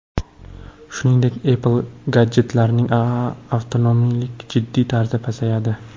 Shuningdek Apple gadjetlarining avtonomligi jiddiy tarzda pasayadi.